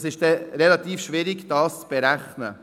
Es ist dann relativ schwierig, das zu berechnen.